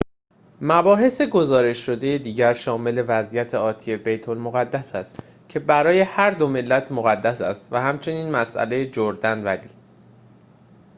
مباحث گزارش شده دیگر شامل وضعیت آتی بیت المقدس است که برای هر دو ملت مقدس است و همچنین مسئله جردن ولی